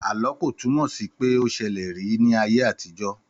Àlọ́ ko túnmò sí pé o ṣẹlẹ̀ rí ní ayé àtijọ́.